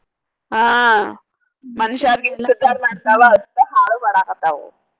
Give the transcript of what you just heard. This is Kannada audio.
ಆ ಮನಷ್ಯಾರ್ಗೆ ಎಷ್ಟ್ ಉದ್ದಾರ ಮಾಡ್ತಾವ ಅಷ್ಟ ಹಾಳು ಮಾಡಾಕತ್ತಾವು.